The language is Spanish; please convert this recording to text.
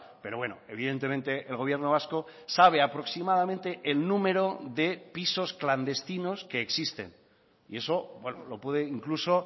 pero bueno evidentemente el gobierno vasco sabe aproximadamente el número de pisos clandestinos que existen y eso lo puede incluso